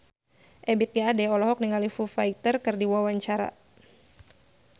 Ebith G. Ade olohok ningali Foo Fighter keur diwawancara